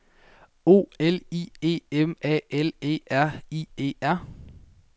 O L I E M A L E R I E R